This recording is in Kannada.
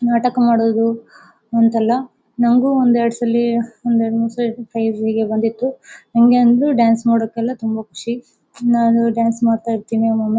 ನಾಟಕ ಮಾಡೋದು ಅಂತೆಲ್ಲ ನಂಗು ಒಂದು ಎರಡು ಸಲಿ ಒಂದು ಎರಡು ಮೂರು ಸಲಿ ಬಂದಿತ್ತು ನನಗೆ ಅಂತೂ ಡಾನ್ಸ್ ಮಾಡಕ್ಕೆ ಎಲ್ಲ ತುಂಬಾ ಖುಷಿ ನಾನು ಡಾನ್ಸ್ ಮಾಡ್ತಾ ಇರ್ತಿನಿ ಓಮ್ಮ್ ಒಮ್ಮೆ.